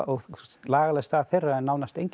lagaleg staða þeirra er nánast engin